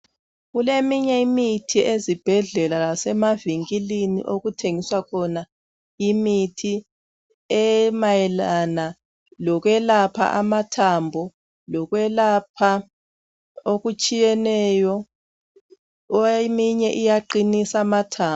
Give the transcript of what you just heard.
Kuleminye imithi ezibhedlela lasemavinkilini okuthengiswa khona imithi emayelana lokwelapha amathambo lokwelapha okutshiyeneyo eminye iyaqinisa amathambo.